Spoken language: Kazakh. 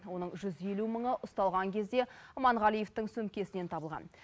оның жүз елу мыңы ұсталған кезде аманғалиевтың сөмкесінен табылған